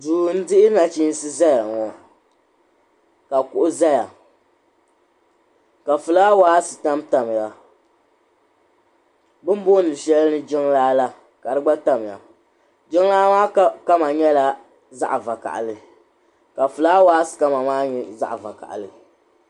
duu n dihi nachiinsi ʒɛya ŋɔ ka kuɣu ʒɛya ka fulaawaasi tamtamya bi ni booni shɛli jiŋlaa la ka di gba tamya jiŋlaa maa kama nyɛla zaɣ vakaɣali ka fulaawaasi kama nyɛ zaɣ vakaɣali